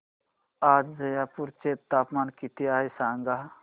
आज जयपूर चे तापमान किती आहे सांगा